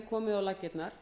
komið á laggirnar